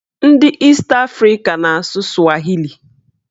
Ndị East Africa na-asụ swahili